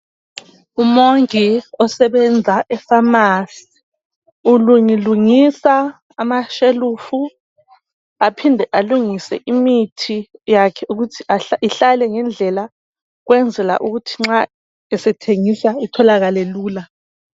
Umongi osebenza efamasi ulungilungisa amashelufu aphinde alungise imithi yakhe ukuthi ihlale ngendlela ukwenzela ukuthi nxa esethengisa itholakale lula.